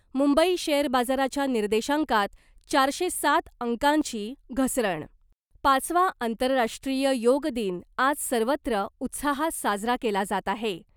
Mumbai share बाजाराच्या निर्देशांकात चारशे सात अंकांची घसरण, पाचवा आंतरराष्ट्रीय योग दिन आज सर्वत्र उत्साहात साजरा केला जात आहे .